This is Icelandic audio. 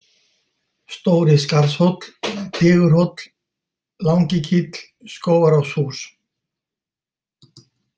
Stóri-Skarðshóll, Digurhóll, Langikíll, Skógaráshús